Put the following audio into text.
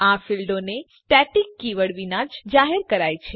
આ ફીલ્ડોને static keyword વિના જ જાહેર કરાય છે